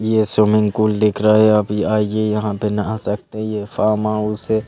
ये swimming pool दिख रहा है आप आइए यहाँ पे नहा सकते हैं ये फार्म हाउस है।